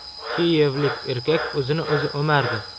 Kiyevlik erkak o‘zini o‘zi o‘mardi.